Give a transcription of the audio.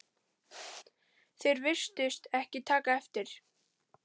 Þeir virtust ekki taka eftir